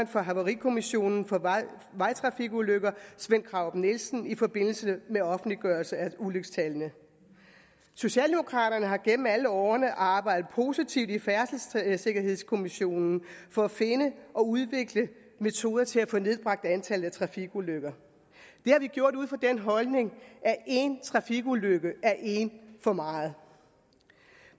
for havarikommissionen for vejtrafikulykker sven krarup nielsen i forbindelse med offentliggørelse af ulykkestallene socialdemokraterne har gennem alle årene arbejdet positivt i færdselssikkerhedskommissionen for at finde og udvikle metoder til at få nedbragt antallet af trafikulykker det har vi gjort ud fra den holdning at én trafikulykke er en for meget